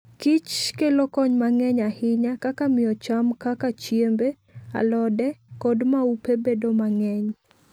Kich kelo kony mangeny ahinya kaka miyo cham kaka chmbe, alode, kod maupe bedo mang'eny.